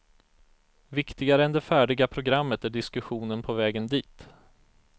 Viktigare än det färdiga programmet är diskussionen på vägen dit.